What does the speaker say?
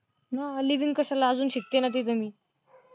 हा, लिविंग कशाला अजून शिकते ना तिथं मी.